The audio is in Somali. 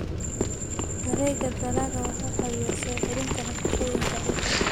Wareegga dalagga wuxuu caawiyaa soo celinta nafaqooyinka ciidda.